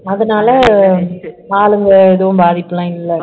அதனால ஆளுங்க எதுவும் பாதிப்புலாம் இல்லை